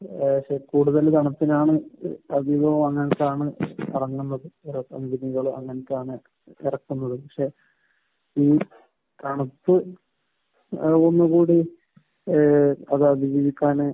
ഏഹ് പക്ഷെ കൂടുതലും തണുപ്പിനാണ് അധികം ഇറങ്ങുന്നത്. ചില കമ്പനികൾ അങ്ങനത്തെയാണ് ഇറക്കുന്നത്. പക്ഷെ ഈ തണുപ്പ് ഏഹ് അത് അതിജീവിക്കാൻ